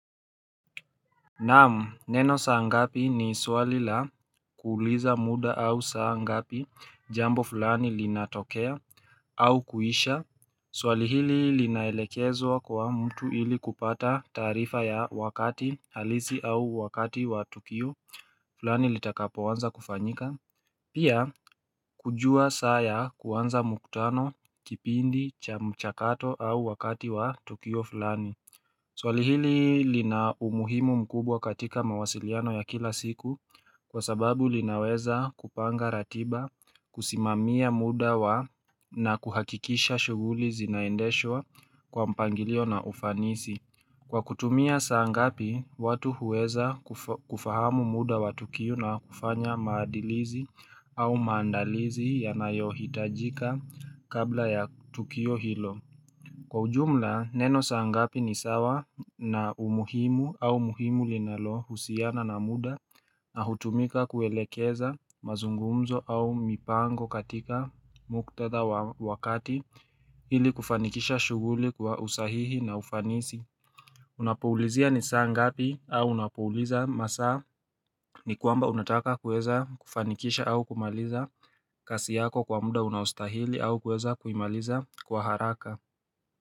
Namu neno saa ngapi ni swali la kuuliza muda au saa ngapi jambo fulani linatokea au kuisha Swali hili linaelekezwa kwa mtu ili kupata tarifa ya wakati halisi au wakati wa tokio fulani litakapo wanza kufanyika Pia kujua saya kuanza muktano kipindi cha mchakato au wakati wa tokio fulani Swalihili lina umuhimu mkubwa katika mawasiliano ya kila siku kwa sababu linaweza kupanga ratiba kusimamia muda wa na kuhakikisha shuguli zinaendeshwa kwa mpangilio na ufanisi. Kwa kutumia saangapi watu huweza kufahamu muda wa tukio na kufanya maadilizi au maandalizi ya nayohitajika kabla ya tukio hilo. Kwa ujumla, neno saa ngapi ni sawa na umuhimu au muhimu linalo husiana na muda na hutumika kuelekeza mazungumzo au mipango katika muktadha wa wakati ili kufanikisha shuguli kwa usahihi na ufanisi Unapuulizia ni saa ngapi au unapuuliza masa ni kwamba unataka kueza kufanikisha au kumaliza kasi yako kwa muda unaustahili au kueza kuimaliza kwa haraka.